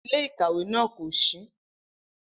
Ile-ikawe naa ko ṣii.